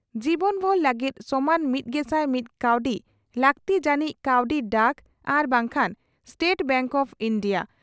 ᱡᱤᱵᱚᱱᱵᱷᱩᱨ ᱞᱟᱹᱜᱤᱫ ᱥᱚᱢᱟᱱ ᱢᱤᱛᱜᱮᱥᱟᱭ ᱢᱤᱛ ᱠᱟᱣᱰᱤ ᱾ᱞᱟᱹᱜᱛᱤ ᱡᱟᱱᱤᱡ ᱠᱟᱣᱰᱤ ᱰᱟᱠ ᱟᱨ ᱵᱟᱝᱠᱷᱟᱱ ᱥᱴᱮᱴ ᱵᱮᱸᱠ ᱚᱯᱷ ᱤᱱᱰᱤᱭᱟ